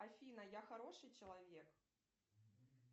афина я хороший человек